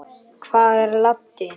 Hvar er Laddi?